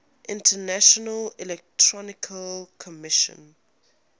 international electrotechnical commission